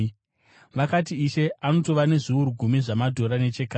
“Vakati, ‘Ishe anotova nezviuru gumi zvamadhora nechakare!’